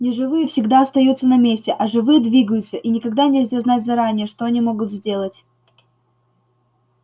неживые всегда остаются на месте а живые двигаются и никогда нельзя знать заранее что они могут сделать